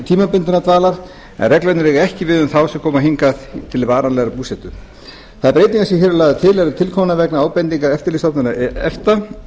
tímabundinnar dvalar en reglurnar eiga ekki við um þá sem hingað koma til varanlegrar búsetu þær breytingar sem hér eru lagðar til eru tilkomnar vegna ábendinga eftirlitsstofnunar efta